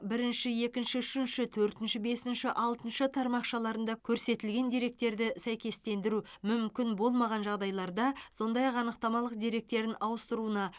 бірінші екінші үшінші төртінші бесінші алтыншы тармақшаларында көрсетілген деректерді сәйкестендіру мүмкін болмаған жағдайларда сондай ақ анықтамалық деректерін ауыстыруына